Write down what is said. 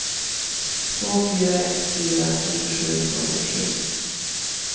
två fyra ett fyra fyrtiosju tvåhundrasju